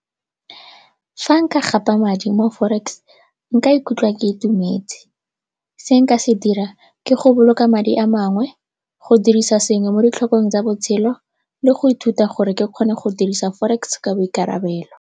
Fa nka gapa madi mo forex nka ikutlwa ke itumetse, se nka se dirang ke go boloka madi a mangwe go dirisa sengwe mo ditlhokong tsa botshelo le go ithuta gore ke kgone go dirisa forex ka boikarabelo.